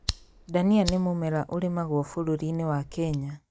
Ndania nĩ mũmera ũrimagwo bũrũri-inĩ wa Kenya